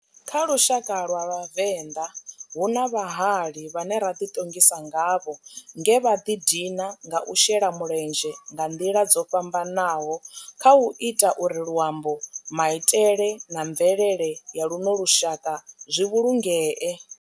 Kha lushaka lwa vhavenḓa, hu na vhahali vhane ra di tongisa ngavho nge vha di dina nga u shela mulenzhe nga ndila dzo fhambananaho khau ita uri luambo, maitele na mvelele ya luno lushaka zwi vhulungee.